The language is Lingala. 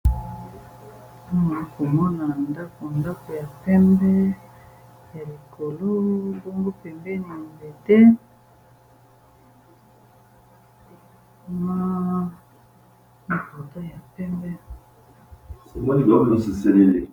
Awa namoni balakisi biso eza ndako ndako ya pembe ya likolo bongo pembeni nzete na portaille ya pembe